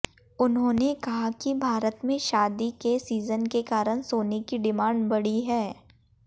उन्होंने कहा कि भारत में शादी के सीजन के कारण सोने की डिमांड बढ़ी है